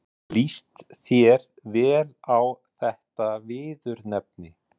Líst þér vel á þetta viðurnefni?